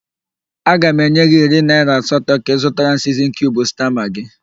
Aga m enye gị iri naỊra asatọ ka ịzụtara m siznin kiub sta magị.